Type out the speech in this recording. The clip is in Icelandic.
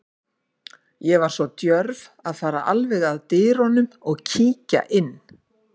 Ég var svo djörf að fara alveg að dyrunum og kíkja inn.